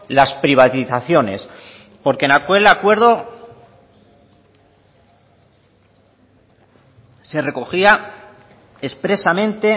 las privatizaciones porque en aquel acuerdo se recogía expresamente